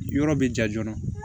Yɔrɔ bɛ ja joona